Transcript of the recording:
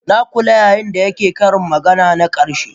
Na kula yayin da yake yin ƙarin magana na karshe